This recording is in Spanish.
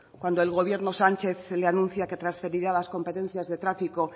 cuando el gobierno sánchez le anuncia que transferirá las competencias de tráfico